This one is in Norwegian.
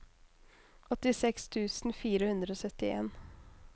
åttiseks tusen fire hundre og syttien